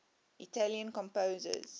italian composers